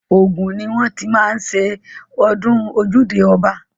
Ògùn ni wọ́n ti má ń ṣe ọdún ojúde ọba.